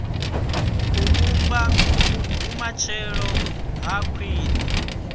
u vhumba vhumatshelo ha khwine